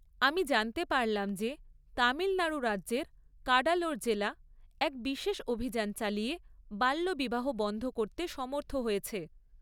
আমি জানতে পারলাম যে, তামিলনাড়ু রাজ্যের কাডালোর জেলা এক বিশেষ অভিযান চালিয়ে বাল্যবিবাহ বন্ধ করতে সমর্থ হয়েছে।